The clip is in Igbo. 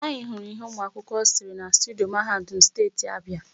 Anyị hụrụ íhé nwaakwụkwọ sere na studio Mahadum Steeti Abịa.